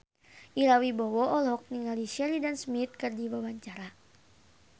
Ira Wibowo olohok ningali Sheridan Smith keur diwawancara